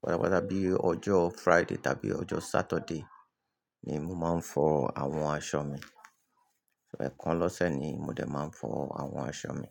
patapata bí ojó Friday tàbí ojó Saturday ni mo máa ń fọ àwọn aṣọ mi. Ẹ̀kan lọ́sẹ̀ ni mo dé máa ń fọ àwọn aṣọ mi.